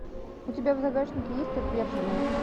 у тебя в загашнике есть отверженные